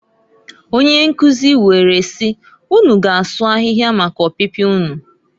Onyenkuzi were siː "Unu ga asụ ahihia, maka opipia unu".